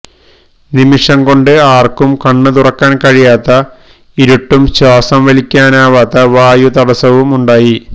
നിമിഷം കൊണ്ട് ആർക്കും കണ്ണ്തുറക്കാൻ കഴിയാത്ത ഇരുട്ടും ശ്വാസം വലിക്കാനാവാത്ത വായു തടസ്സവുമുണ്ടായി